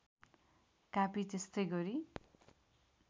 कापी त्यस्तै गरी